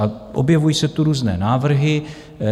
A objevují se tu různé návrhy.